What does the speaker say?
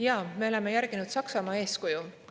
Jaa, me oleme järginud Saksamaa eeskuju.